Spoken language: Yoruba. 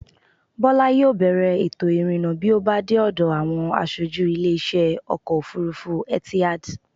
Bọ́lá yóò bèèrè ètò-ìrìnnà bí ó bá dé ọ̀dọ̀ àwọn asojú ilé-isẹ́ Ọkọ̀-òfurufú Etihad.